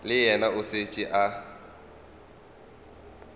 le yena o šetše a